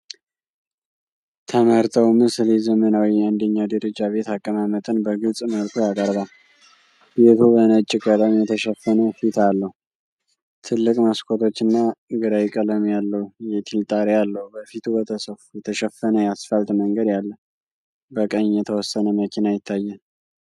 ተመረጠው ምስል የዘመናዊ አንደኛ ደረጃ ቤት አቀማመጥን በግልጽ መልኩ ያቀርባል። ቤቱ በነጭ ቀለም የተሸፈነ ፊት አለው፣ ትልቅ መስኮቶች እና ግራይ ቀለም ያለው የቲል ጣሪያ አለው። በፊቱ በተሰፋ የተሸፈነ የአስፋልት መንገድ አለ፣ በቀኝ የተወሰነ መኪና ይታያል።